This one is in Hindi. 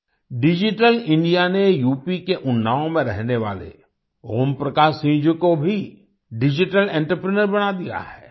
डिजिटल इंडिया ने यूपी के उन्नाव में रहने वाले ओम प्रकाश सिंह जी को भी डिजिटल एंटरप्रेन्योर बना दिया है